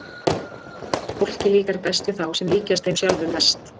Fólki líkar best við þá sem líkjast þeim sjálfum mest.